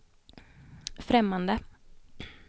främmande